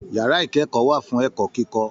Yàrá ikẹkọọ wà fún ẹ̀kọ́ kíkọ.